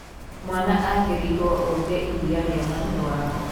Mwana agĩrĩirwo onge iria rĩa Mami wao.